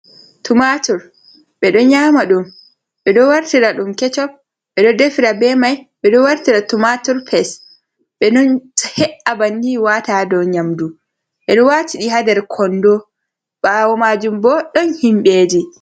Tumatur ɓedo nyama dum, ɓe do wartira dum kecop, ɓedo defira be mai, ɓedo wartira tumatur pes, be ɗo heea banni, wata ɗun ha do nyamdu, ɓedo wata ɗi hander kondo, bawo majun bo don himbeji.